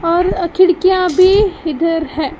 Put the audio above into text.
और अ खिड़कियां भी इधर हैं।